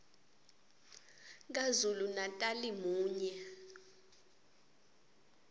kazulu natali munye